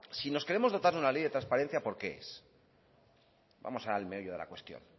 si nos queremos dotar de una ley de transparencia por qué es vamos al meollo de la cuestión